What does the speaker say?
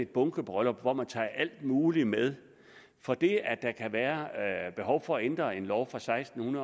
bunkebryllup hvor man tager alt muligt med for det at der kan være behov for at ændre en lov fra seksten